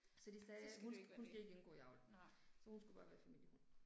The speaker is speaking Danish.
Så de sagde at hun hun skal ikke indgå i avl. Så hun skulle bare være familiehund